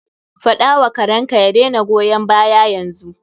Faɗa wa karenka ya daina goyan baya yanzu.